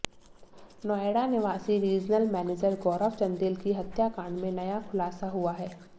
नोएडा निवासी regional manager Gaurav Chandel की हत्याकांड में नया खुलासा हुआ है